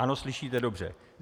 Ano, slyšíte dobře.